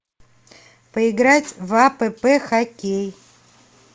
поиграть в апп хоккей